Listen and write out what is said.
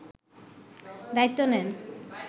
দায়িত্ব নেন